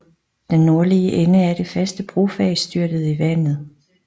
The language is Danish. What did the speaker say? Den nordlige ende af det faste brofag styrtede i vandet